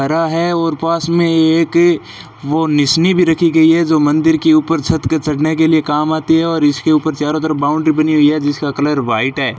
हरा है और पास में एक वो निशनी भी रखी गई है जो मंदिर के ऊपर छत के चढ़ने के लिए काम आती है और इसके चारों तरफ बाउंड्री बनी हुई है जिसका कलर व्हाइट है।